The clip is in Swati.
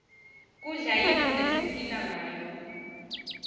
kudla yintfo lesipihla ngayo